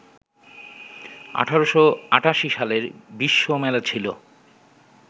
১৮৮৮ সালের বিশ্বমেলা ছিলো